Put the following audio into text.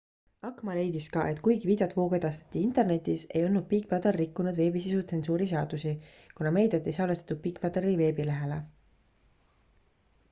acma leidis ka et kuigi videot voogedastati internetis ei olnud big brother rikkunud veebisisu tsensuuri seadusi kuna meediat ei salvestatud big brotheri veebilehele